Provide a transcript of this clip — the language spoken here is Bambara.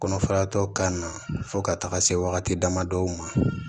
Kɔnɔfaratɔ kana na fɔ ka taga se wagati dama dɔw ma